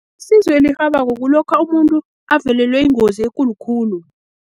Sizo elirhabako kulokha umuntu avelelwe yingozi ekulu khulu.